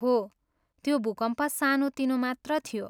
हो, त्यो भूकम्प सानो तिनो मात्र थियो।